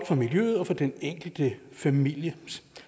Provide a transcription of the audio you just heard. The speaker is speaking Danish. for miljøet og for den enkelte familie